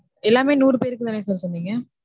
எல்லாமே நூறு பேருக்குதான sir சொன்னீங்க?